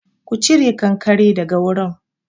Ku cire kankare daga wurin!